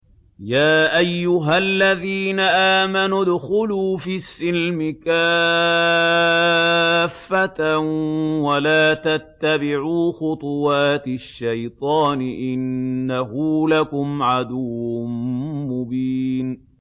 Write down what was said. يَا أَيُّهَا الَّذِينَ آمَنُوا ادْخُلُوا فِي السِّلْمِ كَافَّةً وَلَا تَتَّبِعُوا خُطُوَاتِ الشَّيْطَانِ ۚ إِنَّهُ لَكُمْ عَدُوٌّ مُّبِينٌ